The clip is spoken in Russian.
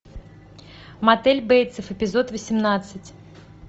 мотель бейтсов эпизод восемнадцать